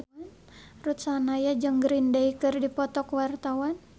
Ruth Sahanaya jeung Green Day keur dipoto ku wartawan